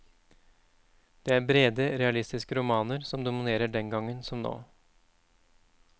Det er brede realistiske romaner som dominerer den gangen som nå.